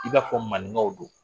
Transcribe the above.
I b'a fɔ maninkaw don